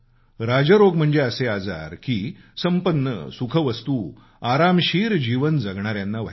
राजरोग म्हणजे असे आजार की की संपन्न सुखवस्तू आरामशीर जीवन जगणाऱ्याना व्हायचे